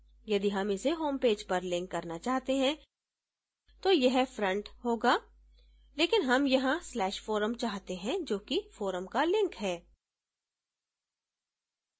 यदि हम इसे homepage पर link करना चाहते हैं तो यह front होगा लेकिन हम यहाँ/forum चाहते हैं जो कि forum का link है